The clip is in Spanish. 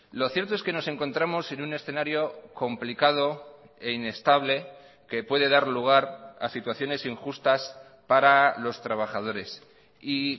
lo cierto es que nos encontramos en un escenario complicado e inestable que puede dar lugar a situaciones injustas para los trabajadores y